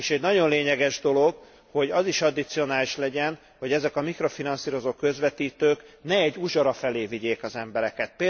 És egy nagyon lényeges dolog, hogy az is addicionális legyen, hogy ezek a mikrofinanszírozó közvetítők ne egy uzsora felé vigyék az embereket.